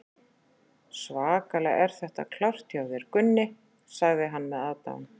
Svakalega er þetta klárt hjá þér, Gunni, sagði hann með aðdáun.